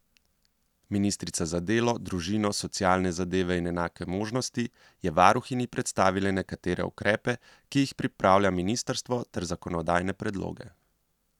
Ministrica za delo, družino, socialne zadeve in enake možnosti je varuhinji predstavila nekatere ukrepe, ki jih pripravlja ministrstvo, ter zakonodajne predloge.